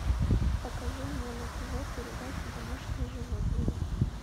покажи мне на тв передачу домашние животные